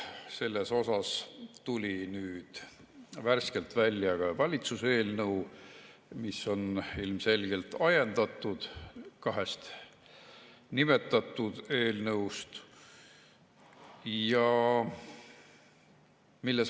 Selle kohta tuli nüüd värskelt välja ka valitsuse eelnõu, mis on ilmselgelt ajendatud kahest nimetatud eelnõust.